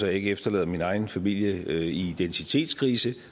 jeg ikke efterlader min egen familie i identitetskrise